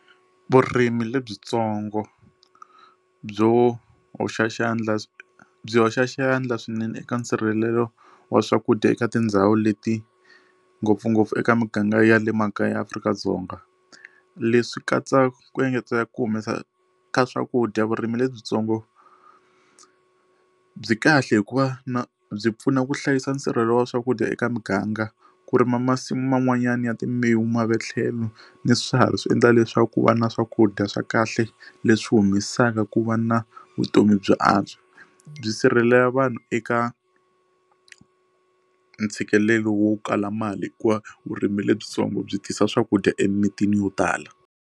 Vurimi lebyitsongo byo hoxa xandla byi hoxa xandla swinene eka nsirhelelo wa swakudya eka tindhawu leti ngopfungopfu eka miganga ya le makaya eAfrika-Dzonga leswi katsaka ku engetela ku humesa ka swakudya vurimi lebyitsongo byi kahle hikuva na byi pfuna ku hlayisa nsirhelelo wa swakudya eka muganga ku rima masimu man'wanyana ya timbewu mavele tlhelo ni swiharhi swi endla leswaku ku va na swakudya swa kahle leswi humesaka ku va na vutomi byi antswa byi sirhelela vanhu eka ntshikelelo wo kala mali hikuva vurimi lebyitsongo byi tisa swakudya emimitini yo tala.